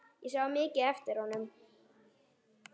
Ég sá mikið eftir honum.